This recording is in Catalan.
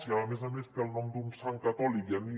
si a més a més té el nom d’un sant catòlic ja ni